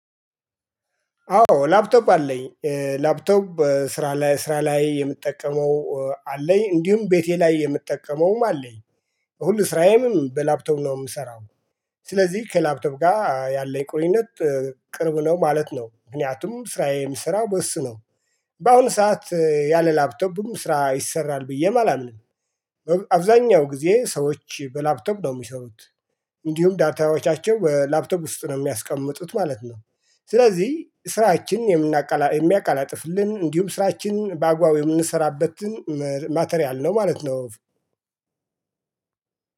አዎ ላፕቶፕ አለኝ ላፕቶፕ ስራ ላይ ስራ ላይ የምጠቀመው አለኝ እንዲሁም ቤቴ ላይ የምጠቀመውም አለኝ ሁሉ ስራዬም በላፕቶቭ ነው የምሰራው። ስለዚህ ከላፕቶቭ ጋር ያለው ቁርኝነት ቅርብ ነው ማለት ነው። ምክንያቱም ስራዬን ስራ በእሱ ነው። በአሁኑ ሰዓት ያለ ላፕቶፒ ስራ ይሰራል ብዬም አላምንም። አብዛኛው ጊዜ ሰዎች በላፕቶፕ ነው የሚሰሩት። እንዲሁም ዳታዎቻቸው በላፕቶፕ ውስጥ ነው የሚያስቀምጡት ማለት ነው። ስለዚህ ስራችን የምናቃ የምያቀላጥፍልን እንዲሁም ስራችን በአግባቡ የምንሰራበትን ማተሪያል ነው ማለት ነው።